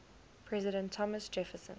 president thomas jefferson